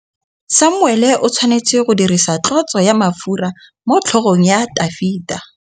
Samuele o tshwanetse go dirisa tlotsô ya mafura motlhôgong ya Dafita.